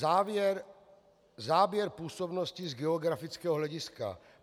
Záběr působnosti z geografického hlediska.